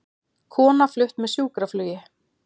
Kona flutt með sjúkraflugi